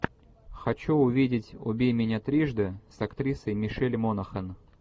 хочу увидеть убей меня трижды с актрисой мишель монахэн